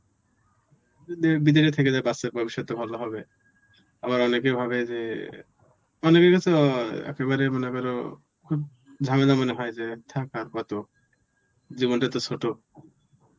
বিদেশে থেকে যাবে বাচ্চার ভবিষ্যতে ভালো হবে আবার অনেকে ভাবে যে অনেকের কাছে অ্যাঁ একেবারেই মনে করো খুব ঝামেলা মনে হয় যে থাক আর কতো জীবনটা এত ছোট